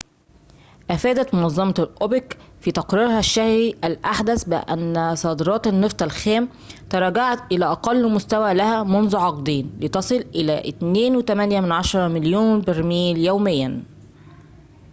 أفادت منظمة أوبك في تقريرها الشهري الأحدث بأن صادرات النفط الخام تراجعت إلى أقل مستوى لها منذ عقدين لتصل إلى 2.8 مليون برميل يومياً